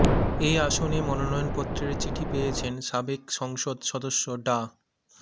এ আসনে মনোনয়নপত্রের চিঠি পেয়েছেন সাবেক সংসদ সদস্য ডা